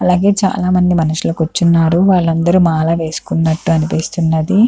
అలాగే చాల మంది మనుషులు కూర్చున్నారు వలందరు మాల వేసుకున్నట్టు అనిపిస్తున్నది.